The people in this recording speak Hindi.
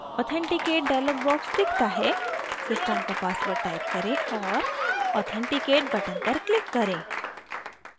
authenticate dialog box दिखता है system का password type करें और authenticate button पर click करें